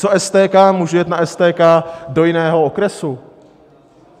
Co STK, můžu jet na STK do jiného okresu?